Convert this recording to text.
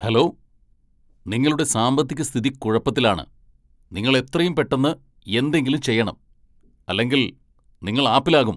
Hello, നിങ്ങളുടെ സാമ്പത്തിക സ്ഥിതി കുഴപ്പത്തിലാണ്! നിങ്ങൾ എത്രയും പെട്ടെന്ന് എന്തെങ്കിലും ചെയ്യണം, അല്ലെങ്കിൽ നിങ്ങൾ ആപ്പിലാകും.